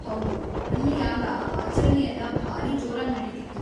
ಹೌದು, ಅಲ್ಲಿ ಆಗ ಆಚರಣೆಯೆಲ್ಲ ಭಾರೀ ಜೋರಾಗ್ ನಡೀತಿತ್ತು.